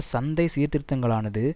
சந்தை சீர்திருத்தங்களானது